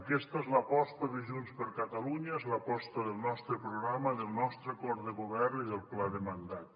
aquesta és l’aposta de junts per catalunya és l’aposta del nostre programa del nostre acord de govern i del pla de mandat